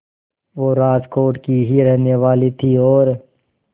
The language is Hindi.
वो राजकोट की ही रहने वाली थीं और